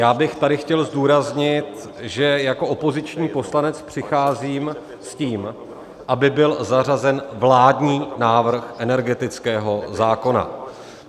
Já bych tady chtěl zdůraznit, že jako opoziční poslanec přicházím s tím, aby byl zařazen vládní návrh energetického zákona.